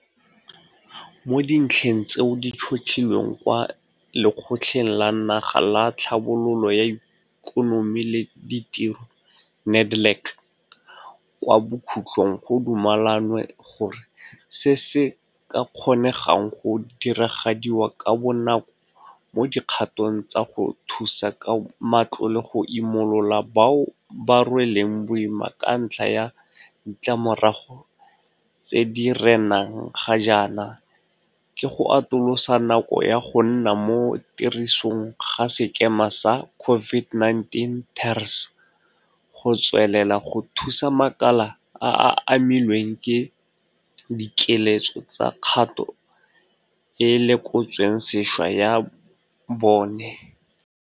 Mo dintlheng tseo di tšhotlhilweng kwa Lekgotleng la Naga la Tlhabololo ya Ikonomi le Ditiro NEDLAC kwa bokhutlhong go dumelanwe gore se se ka kgonegang go diragadiwa ka bonako mo dikgatong tsa go thusa ka matlole go imolola bao ba rweleng boima ka ntlha ya ditlamorago tse di renang ga jaana ke go atolosa nako ya go nna mo tirisong ga sekema sa COVID19 TERS go tswelela go thusa makala a a amilweng ke dikiletso tsa kgato e e lekotsweng sešwa ya bone.